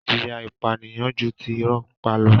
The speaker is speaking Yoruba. Ìjìyà ìpànìyàn ju ti irọ́ pípa lọ.